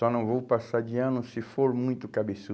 Só não vou passar de ano se for muito